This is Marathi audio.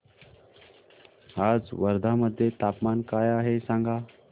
आज वर्धा मध्ये तापमान काय आहे सांगा